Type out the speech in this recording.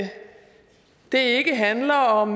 det ikke handler om